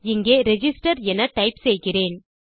இங்கே ரிஜிஸ்டர் என டைப் செய்கிறேன்